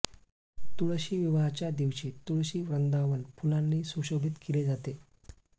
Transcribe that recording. तुळशी विवाहाच्या दिवशी तुळशी वृंदावन फुलांनी सुशोभित केले जाते